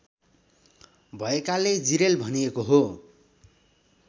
भएकाले जिरेल भनिएको हो